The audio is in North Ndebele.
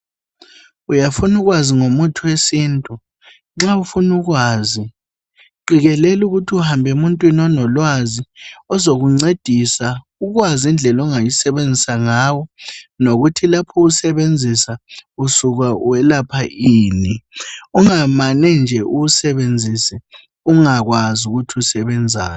Uyafuna ukwazi ngomuthi wesintu nxa ufuna ukwazi qikelela ukuthi uhambe emuntwini onolwazi ozokuncedisa ukwazi indlela ongayisebenzisa ngawo nokuthi lapho uwusebenzisa usuka welapha ini ungamane nje uwusebenzise ungakwazi ukuthi usebenzani.